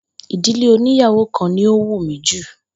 Ìdílé oníyàwo kan ni ó wù mi jù